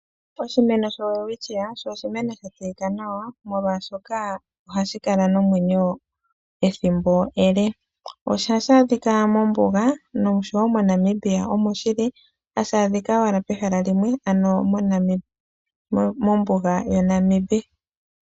Oshimeno shoWelwitschia osho oshimeno sha tseyika nawa, oshoka osho shimeno hashi kala nomwenyo ethimbo ele. Ohashi adhika mombuga noshowo moNamibia omo shili, hashi adhika owala pehala limwe ano mombuga yaNamib.